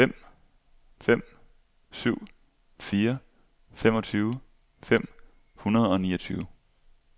fem fem syv fire femogtyve fem hundrede og niogtyve